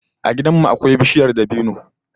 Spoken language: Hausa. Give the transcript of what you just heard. A gidan mu akwai bishiyar dabino